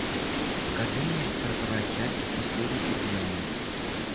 покажи мне сороковая часть последний изгнанник